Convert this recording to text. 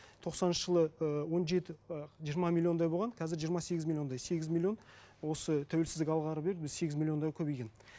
тоқсаныншы жылы і он жеті ы жиырма миллиондай болған қазір жиырма сегіз миллиондай сегіз миллион осы тәуелсіздік алғалы бері сегіз миллионға көбейген